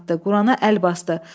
Qurana əl basdı.